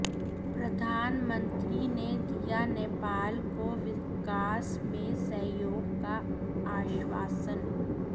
प्रधानमंत्री ने दिया नेपाल को विकास में सहयोग का आश्वासन